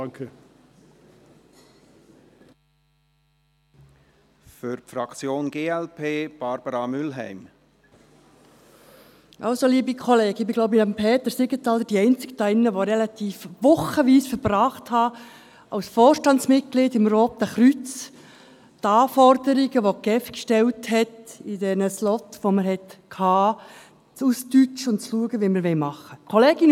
Ich glaube, ich bin nebst Peter Siegenthaler die einzige hier, die Wochen damit verbracht hat, als Vorstandsmitglied des Roten Kreuzes, die Anforderungen, welche die GEF in den Slots stellte, auszudeutschen und zu schauen, wie wir es machen wollen.